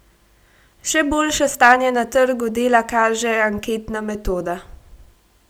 Še boljše stanje na trgu dela kaže anketna metoda.